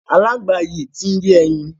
Aláǹgbá yìí ti ń yé ẹyin.